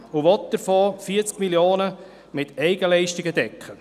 Davon will sie 40 Mio. Franken mit Eigenleistungen decken.